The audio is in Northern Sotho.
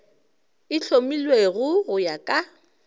e hlomilwego go ya ka